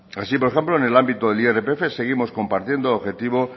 así por ejemplo en el ámbito del irpf seguimos compartiendo el objetivo